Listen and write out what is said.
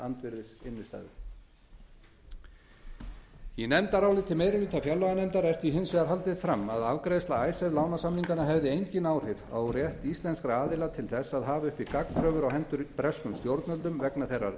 andvirðis innstæðu í nefndaráliti meiri hluta fjárlaganefndar er því hins vegar haldið fram að afgreiðsla icesave lánasamninganna hefði engin áhrif á rétt íslenskra aðila til þess að hafa uppi gagnkröfur á hendur breskum stjórnvöldum vegna þeirrar